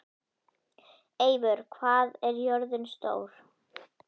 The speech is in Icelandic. Eivör, hvað er jörðin stór?